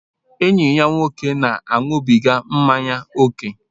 Enyi ya nwoke na-aṅụbiga mmanya ókè.